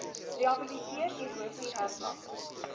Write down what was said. rehabiliteer erosie herplanting